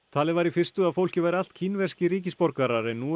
talið var í fyrstu að fólkið væri allt kínverskir ríkisborgarar en nú